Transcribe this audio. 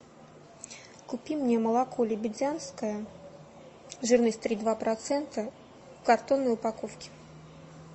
купи мне молоко лебедянское жирность три и два процента в картонной упаковке